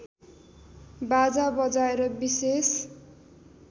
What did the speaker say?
बाजा बजाएर विशेष